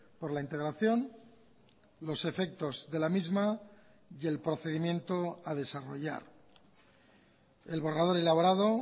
por la integración los efectos de la misma y el procedimiento a desarrollar el borrador elaborado